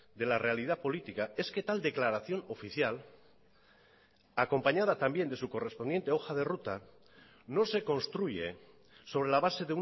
de la realidad política es que tal declaración oficial acompañada también de su correspondiente hoja de ruta no se construye sobre la base